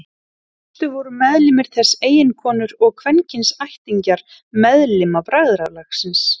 Í fyrstu voru meðlimir þess eiginkonur og kvenkyns ættingjar meðlima bræðralagsins.